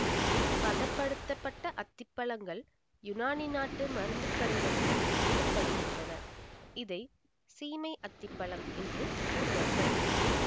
பதப்படுத்தப்பட்ட அத்திப்பழங்கள் யுனானி நாட்டு மருந்து கடைகளில் விற்க படுகின்றன இதை சீமை அத்தி பழம் என்று கூறுவார்கள்